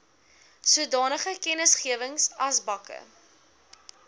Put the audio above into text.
sodanige kennisgewings asbakke